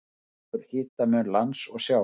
Það eykur hitamun lands og sjávar.